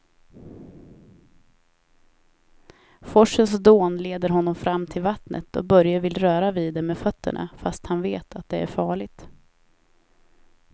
Forsens dån leder honom fram till vattnet och Börje vill röra vid det med fötterna, fast han vet att det är farligt.